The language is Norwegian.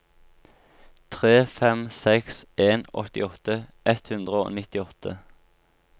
tre fem seks en åttiåtte ett hundre og nittiåtte